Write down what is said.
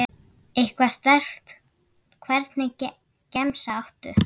Eitthvað sterkt Hvernig gemsa áttu?